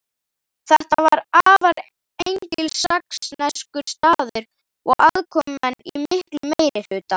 Þetta var afar engilsaxneskur staður og aðkomumenn í miklum meirihluta.